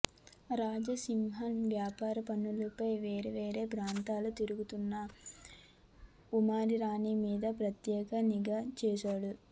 రాజసింహన్ వ్యాపారం పనులపై వేరేవేరే ప్రాంతాలు తిరుగుతున్నా ఉమారాణి మీద ప్రత్యేక నిఘా వేశాడు